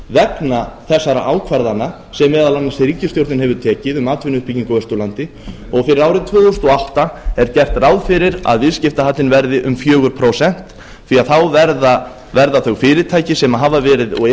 vegna þessara ákvarðana sem meðal annars ríkisstjórnin hefur tekið um atvinnuuppbyggingu á austurlandi og fyrir árið tvö þúsund og átta er gert ráð fyrir að viðskiptahallinn verði um fjögur prósent því að þá verða þau fyrirtæki sem hafa verið og eru í